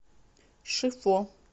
шифо